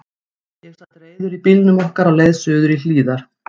Ég sat reiður í bílnum okkar á leið suður í Hlíðar.